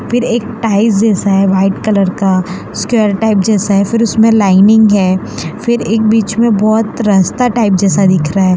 फिर एक टाइल्स जैसा है वाइट कलर का स्क्वायर टाइप जैसा है फिर उसमें लाइनिंग है फिर एक बीच में बहुत रस्ता टाइप जैसा दिख रहा है।